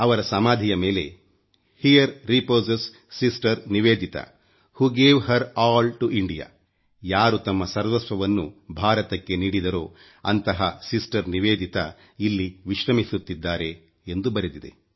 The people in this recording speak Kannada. ಅವರ ಸಮಾಧಿಯ ಮೇಲೆ here reposes sister Nivedita who gave her all to India ಯಾರು ತಮ್ಮ ಸರ್ವಸ್ವವನ್ನು ಭಾರತಕ್ಕೆ ನೀಡಿದರೋ ಅಂತಹ ಸಿಸ್ಟರ್ ನಿವೇದಿತಾ ಇಲ್ಲಿ ವಿಶ್ರಮಿಸುತ್ತಿದ್ದಾರೆ ಎಂದು ಬರೆದಿದೆ